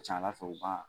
Ca ala fɛ u b'a